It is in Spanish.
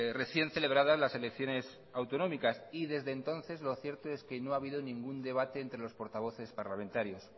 recién celebradas las elecciones autonómicas y desde entonces lo cierto es que no ha habido ningún debate entre los portavoces parlamentarios